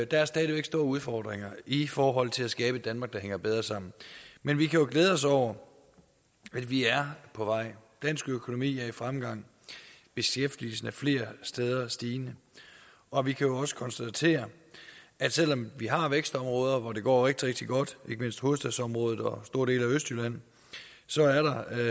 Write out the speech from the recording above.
der er stadig væk store udfordringer i forhold til at skabe et danmark der hænger bedre sammen men vi kan jo glæde os over at vi er på vej dansk økonomi er i fremgang beskæftigelsen er flere steder stigende og vi kan også konstatere at selv om vi har vækstområder hvor det går rigtig rigtig godt ikke mindst i hovedstadsområdet og store dele af østjylland